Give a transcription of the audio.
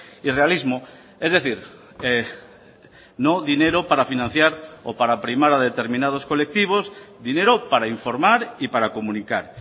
y realismo es decir no dinero para financiar o para primar a determinados colectivos dinero para informar y para comunicar